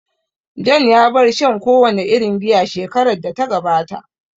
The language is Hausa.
John ya bar shan kowane irin giya shekarar da ta gabata